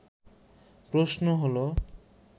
প্রশ্ন হলো